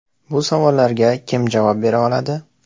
Bu savollarga kim javob bera oladi?